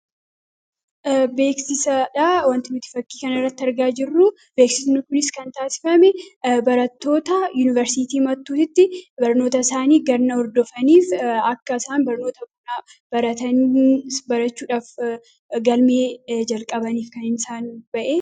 Beeksisadha. Wanti nuti fakkii kanarraatti argaa jirru. beeksisni kunis kan taasifame barattoota yuuniversiitii Mattuutitti barnoota isaanii ganna hordofaniif akka isaan barnoota bonaaf baratanii barachuudhaaf galmee jalqabaniif kan isaan bahee.